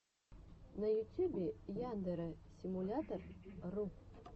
на ютюбе яндэрэ симулятор ру